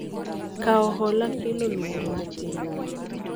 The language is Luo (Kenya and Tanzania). Kawo hola kelo luoro ne pinywa,